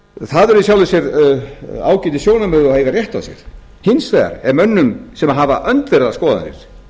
það eru í sjálfu sér ágætis sjónarmið og eiga rétt á sér hins vegar er mönnum sem hafa öndverðar skoðanir